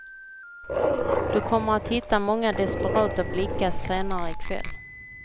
Du kommer att hitta många desperata blickar senare i kväll.